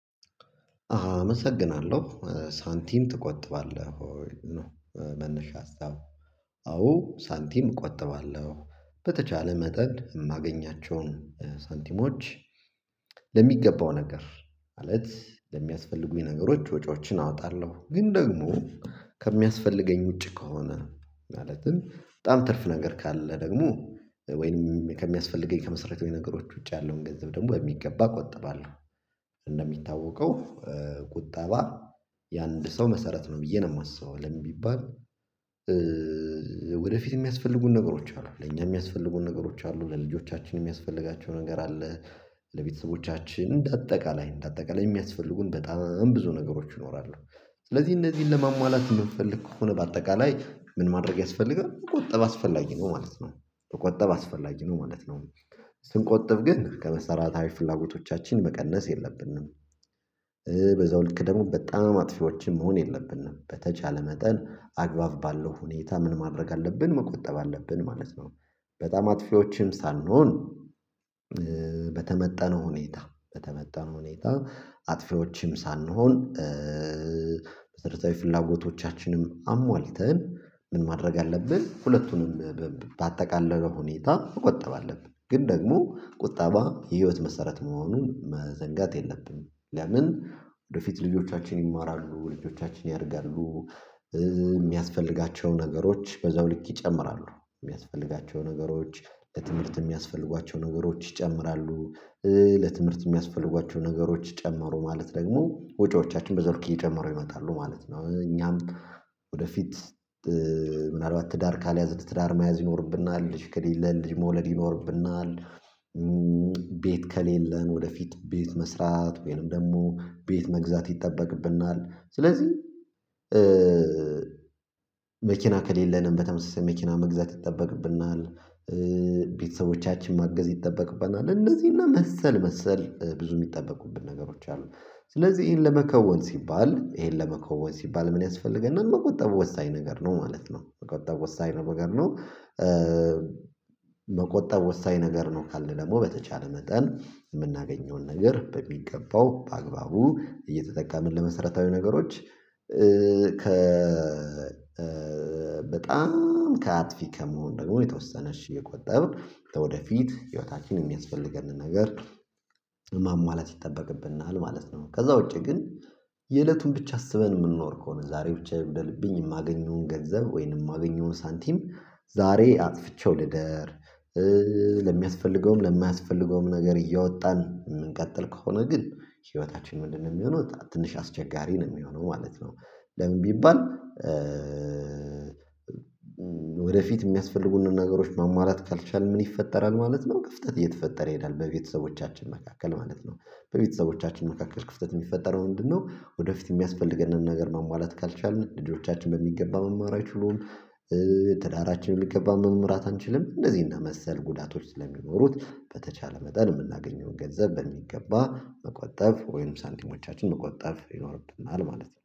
አመሰግናለሁ ሳንቲም ትቆጥባለህ ወይ? ነው መነሻ ሀሳብ። አዎ ሳንቲም እቆጥባለሁ በተቻለ መጠን የማገኛቸውን ሳንቲሞች። ለሚገባው ነገር ማለት ለሚያስፈልጉኝ ነገሮች ወጪዎችን አወጣለሁ ግን ደግሞ ከሚያስፈልገኝ ውጪ ከሆነ ማለትም በጣም ትርፍ ነገር ካለ ደግሞ ወይንም ከሚያስፈልገኝ ከመሰረታዊ ነገሮች ውጪ ያለውን ገንዘብ ደግሞ የሚገባ ቆጠባለሁ። እንደሚታወቀው ቁጠባ የአንድ ሰው መሰረት ነው ብዬ ነው የማስበው ለምን ቢባል? ወደፊት የሚያስፈልጉን ነገሮች አሉ ለኛ የሚያስፈልጉን ነገሮች አሉ ለልጆቻችን የሚያስፈልጋቸው ነገር አለ። ለቤተሰቦቻችን እንደ አጠቃላይ እንደ አጠቃላይ የሚያስፈልጉን በጣም ብዙ ነገሮች ይኖራሉ። ስለዚህ እነዚህን ለማሟላት የምፈልግ ከሆነ በአጠቃላይ ምን ማድረግ ያስፈልጋል መቆጠብ አስፈላጊ ነው ማለት ነው። መቆጠብ አስፈላጊ ነው ማለት ነው። ስንቆጥብ ግን ከመሰረታዊ ፍላጎቶቻችን መቀነስ የለብንም። በዛው ልክ ደግሞ በጣም አጥፊዎችን መሆን የለብንም በተቻለ መጠን አግባብ ባለው ሁኔታ ምን ማድረግ አለብን መቆጠብ አለብን ማለት ነው። በጣም አጥፊዎችን ሳንሆን። በተመጠነው ሁኔታ በተመጠነ ሁኔታ አጥፊዎችም ሳንሆን። መሰረታዊ ፍላጎቶቻችንም አሟልተን ምን ማድረግ አለብን ሁለቱንም በአጠቃላይ ሁኔታ መቆጠብ አለብን። ግን ደግሞ ቁጠባ የህይወት መሰረት መሆኑን መዘንጋት የለብንም። ለምን ወደፊት ልጆቻችን ይማራሉ ልጆቻችን ያደርጋሉ። የሚያስፈልጋቸው ነገሮች በዛው ልክ ይጨምራሉ የሚያስፈልጋቸው ነገሮች ለትምህርት የሚያስፈልጓቸው ነገሮች ይጨምራሉ። ለትምህርት የሚያስፈልጓቸው ነገሮች ጨምሮ ደግሞ ወጪዎቻችን በዛ ልክ እየጨመሩ ይመጣሉ ማለት ነው። እኛም ወደፊት ምናልባት ትዳር ካልያዝን ትዳር መያዝ ይኖርብናል ልጅ ከሌለ ልጅ መውለድ ይኖርብናል። ቤት ከሌለን ወደፊት ቤት መስራት ወይም ደግሞ ቤት መግዛት ይጠበቅብናል። ስለዚህ መኪና ከሌለንም በተመሳሳይ መኪና መግዛት ይጠበቅብናል። ቤተሰቦቻችን ማገዝ ይጠበቅበናል እንደዚህ እና መሰል መሰል ብዙ የሚጠበቁበት ነገሮች አሉ። ስለዚህ ይሄን ለመከወን ሲባል ይሄን ለመከወን ሲባል ምን ያስፈልገና መቆጣበብ ወሳኝ ነገር ነው ማለት ነው። መቆጠብ ወሳኝ ነው መገር ነው። መቆጠብ ወሳኝ ነገር ነው ካልን ደግሞ በተቻለ መጠን የምናገኘውን ነገር በሚገባው በአግባቡ እየተጠቃመን ለመሰረታዊ ነገሮች። ከ በጣም ከአጥፊ ከመሆን ደግሞ የተወሰነ እየቆጠብን ወደፊት ህይወታችን የሚያስፈልገንን ነገር ማሟላት ይጠበቅብናል ማለት ነው። ከዛ ውጪ ግን። የእለቱን ብቻ አስበን የምንኖር ከሆነ ዛሬ ብቻ የምደልብኝ የማገኘውን ገንዘብ ወይንም የማገኘውን ሳንቲም ዛሬ አጥፍቼው ልደር። ለሚያስፈልገውም ለማያስፈልገውም ነገር እያወጣን የምንቀጥል ከሆነ ግን ህይወታችን ምንድነው የሚሆነው ትንሽ አስቸጋሪ ነው የሚሆነው ማለት ነው። ለምን ቢባል? ወደፊት የሚያስፈልጉን ነገሮች ማሟላት ካልቻልን ምን ይፈጠራል ማለት ነው። እየተፈጠረ ይሄዳል በቤተሰቦቻችን መካከል ማለት ነው። በቤተሰቦቻችን መካከል ክፍተት የሚፈጠረው ምንድነው? ወደፊት የሚያስፈልገንን ነገር ማሟላት ካልቻልን ልጆቻችን በሚገባ መማር አይችሉም። ትዳራችን በሚገባ መምራት አንችልም እንደዚህ እና መሰል ጉዳቶች ስለሚኖሩት በተቻለ መጠን የምናገኘውን ገንዘብ በሚገባ መቆጠብ ወይም ሳንቲሞቻችን መቆጠብ ይኖርብናል። ማለት ነው